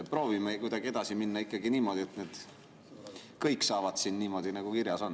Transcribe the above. Proovime kuidagi edasi minna ikkagi niimoodi, et kõik saavad siin niimoodi, nagu kirjas on.